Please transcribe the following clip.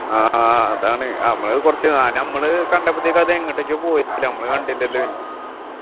ആഹ് അതാണ് അപ്പൊ കുറച്ചു ആ നമ്മള് കണ്ടപ്പൊത്തേക്കും അത് എങ്ങോട്ടേക്കോ പോയി നമ്മള് കണ്ടില്ലല്ലോ പിന്നെ